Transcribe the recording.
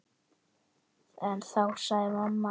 En þá sagði mamma